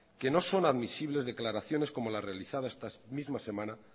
que no son admisibles declaraciones como las realizadas esta misma semana